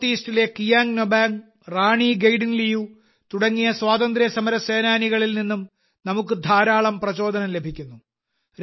north ഈസ്റ്റിലെ കിയാങ് നൊബാംഗ് റാണി ഗൈഡിൻലിയു തുടങ്ങിയ സ്വാതന്ത്ര്യസമരസേനാനികളിൽ നിന്നും നമുക്ക് ധാരാളം പ്രചോദനം ലഭിക്കുന്നു